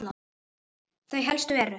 Þau helstu eru